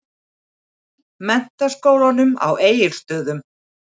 Menntaskólanum á Egilsstöðum.